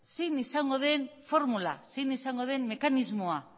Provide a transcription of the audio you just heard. zein izango den formula zein izango den mekanismoa